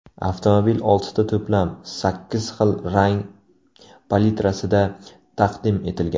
Avtomobil oltita to‘plam, sakkiz xil rang palitrasida taqdim etilgan.